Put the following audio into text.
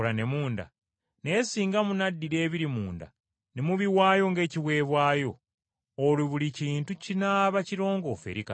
Naye singa munaddira ebiri munda ne mubiwaayo ng’ekiweebwayo, olwo buli kintu kinaaba kirongoofu eri Katonda.